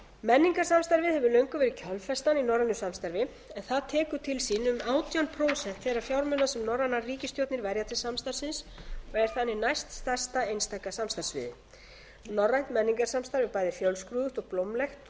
menningarsamstarfið hefur löngum verið kjölfestan í norrænu samstarfi það tekur til sín um átján prósent þeirra fjármuna sem norrænar ríkisstjórnir verja til samstarfsins og er þannig næststærsta einstaka samstarfssviðið norrænt menningarsamstarf er bæði fjölskrúðugt og blómlegt og